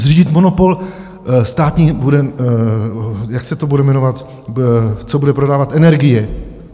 Zřídit monopol, státní, jak se to bude jmenovat, co bude prodávat energie.